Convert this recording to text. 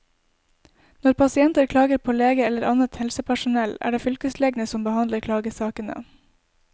Når pasienter klager på leger eller annet helsepersonell, er det fylkeslegene som behandler klagesakene.